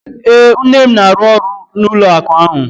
Ee, nne m na-arụ ọrụ n'ụlọ akụ ahụ.